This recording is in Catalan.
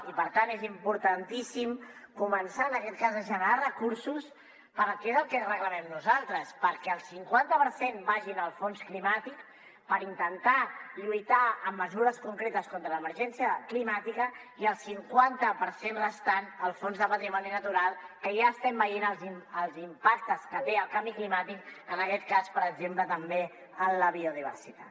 i per tant és importantíssim començar a generar recursos que és el que reclamem nosaltres perquè el cinquanta per cent vagi en el fons climàtic per intentar lluitar amb mesures concretes contra l’emergència climàtica i el cinquanta per cent restant al fons de patrimoni natural que ja estem veient els impactes que té el canvi climàtic en aquest cas per exemple també en la biodiversitat